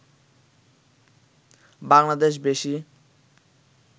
বাংলাদেশ বেশি